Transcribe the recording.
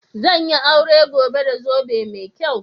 Zan yi aure gobe da zobe mai kyau.